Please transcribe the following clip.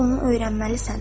Əvvəlcə onu öyrənməlisən.